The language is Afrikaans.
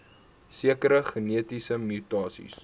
sekere genetiese mutasies